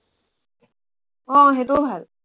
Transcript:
আহ সেইটোও ভাল